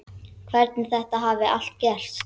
Hvernig þetta hafi allt gerst.